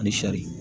Ani sari